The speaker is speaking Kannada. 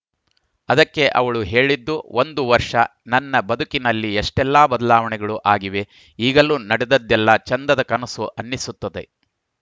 ಅದಕ್ಕೆ ಅವಳು ಹೇಳಿದ್ದು ಒಂದು ವರ್ಷ ನನ್ನ ಬದುಕಲ್ಲಿ ಎಷ್ಟೆಲ್ಲಾ ಬದಲಾವಣೆಗಳು ಆಗಿವೆ ಈಗಲೂ ನಡೆದದ್ದೆಲ್ಲಾ ಚೆಂದದ ಕನಸು ಅನ್ನಿಸುತ್ತದೆ